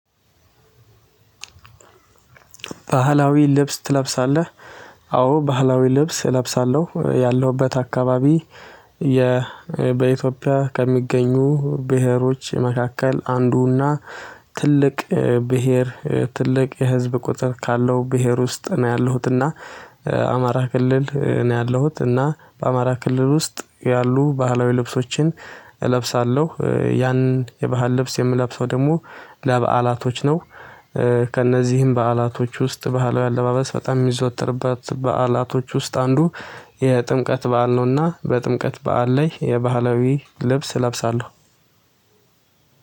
ባህላዊ ልብስ ትለብሳለህ? አዎ ባህላዊ ልብስ እለብሳለሁ ያለሁበት አካባቢ። የ በኢትዮጵያ ከሚገኙ ብሄሮች መካከል አንዱና ትልቅ ብሄር ትልቅ የህዝብ ቁጥር ካለው ብሄር ውስጥ ነው ያለሁት። እና አማራ ክልል ነው ያለሁት እና በአማራ ክልል ውስጥ ያሉ ባህላዊ ልብሶችን እለብሳለሁ። ያንን የባህል ልብስ የምለብሰው ደግሞ ለበአላቶች ነው። ከእነዚህም በዓላቶች ውስጥ ባህላዊ አለባበስ በጣም የሚዘወትርበት በዓላቶች ውስጥ አንዱ የጥምቀት በዓል ነውና በጥምቀት በዓል ላይ የባህላዊ ልብስ እለብሳለሁ